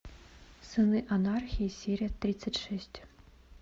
сыны анархии серия тридцать шесть